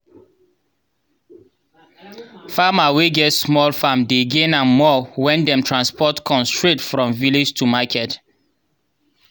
farmer wey get small farm dey gain am more when dem transport corn straight from village to market